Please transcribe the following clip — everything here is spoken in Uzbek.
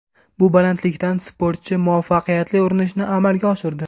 Bu balandlikdan sportchi muvaffaqiyatli urinishni amalga oshirdi.